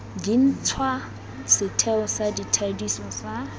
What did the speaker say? dintšhwa setheo sa thadiso sa